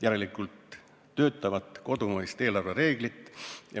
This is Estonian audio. Vaja on töötavat kodumaist eelarvereeglit.